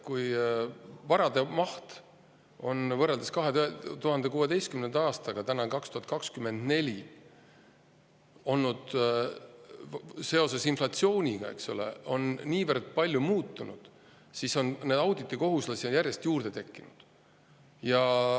Kui varade maht on nüüd, kui aasta on 2024, võrreldes 2016. aastaga seoses inflatsiooniga niivõrd palju muutunud, siis on auditikohuslasi järjest juurde tekkinud.